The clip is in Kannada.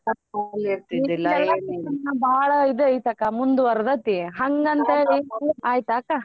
ಭಾಳ ಇದು ಐತಕಾ ಮುಂದ್ವರ್ದತಿ ಹಂಗಂತೇಳಿ ಆಯ್ತಾ ಅಕ್ಕ.